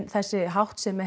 þessi háttsemi